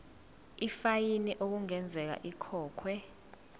ifayini okungenzeka ikhokhwe